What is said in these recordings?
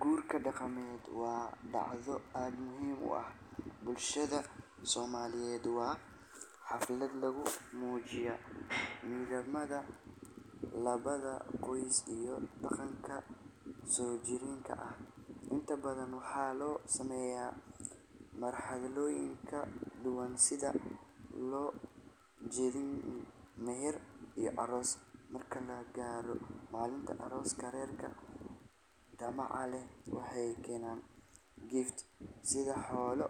Guurka daqameed waa dacdo aad muhiim u ah, oo lagu mujiyo midnimada, iyo daqanka soo jireenka, sida meher iyo aroos, malinta arooska reerka waxeey keenan xoolo,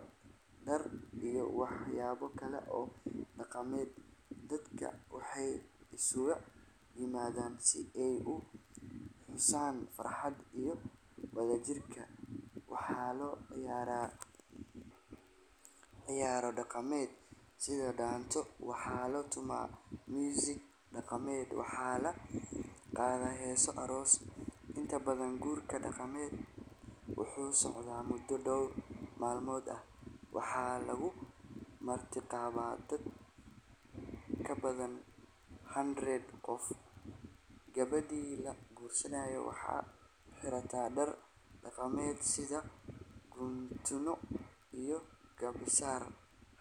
dadka waay xusaan farxad iyo wada jir, waxaa la ciyaara ciyaaro daqameed, heeso aroos, wuxuu socda mudo door malmood ah, gabadha waxeey xirata dar daqameed,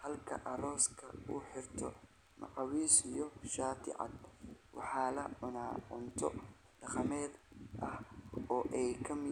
halka arooska uu xirto macawis iyo shaati cad.